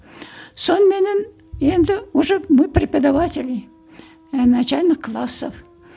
соныменен енді уже мы преподаватели ііі начальных классов